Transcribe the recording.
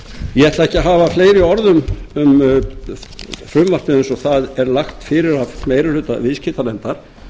ekki að hafa fleiri orð um frumvarpið eins og það er lagt fyrir af meiri hluta viðskiptanefndar